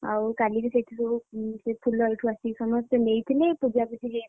ଆଉ କାଲି ବି ସେଇଥିରୁ ଫୁଲ ଏଇଠୁ ଆସିକି ସମସ୍ତେ ନେଇଥିଲେ ପୂଜାପୂଜି ହେଇଥିଲା।